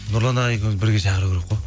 нұрлан ағай екеуімізді бірге шақыру керек қой